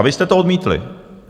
A vy jste to odmítli.